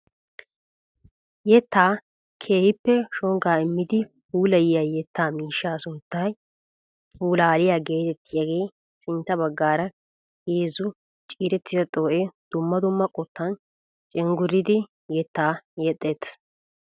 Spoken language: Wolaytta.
Yettaa keehippe shongaa immidi puulayiyaa yettaa miishshaa sunttaykka pulaaliyaa getettiyaagee sintta baggaara heezzu ciirettida xoo'ee dumma dumma qottan cenguriidi yettaa yexxettees!